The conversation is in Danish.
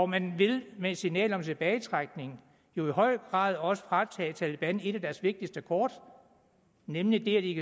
man vil med et signal om en tilbagetrækning jo i høj grad også fratage taleban et af deres vigtigste kort nemlig det at de